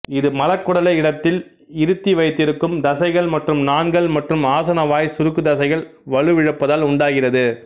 இது மலக்குடலை இடத்தில் இருத்தி வைத்திருக்கும் தசைகள் மற்றும் நாண்கள் மற்றும் ஆசனவாய்ச் சுருக்குத்தசைகள் வலுவிழப்பதால் உண்டாகிறது